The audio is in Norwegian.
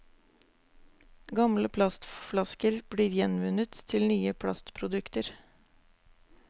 Gamle plastflasker blir gjenvunnet til nye plastprodukter.